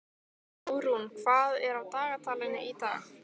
Árún, hvað er á dagatalinu í dag?